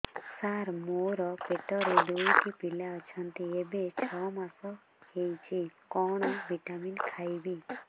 ସାର ମୋର ପେଟରେ ଦୁଇଟି ପିଲା ଅଛନ୍ତି ଏବେ ଛଅ ମାସ ହେଇଛି କଣ ଭିଟାମିନ ଖାଇବି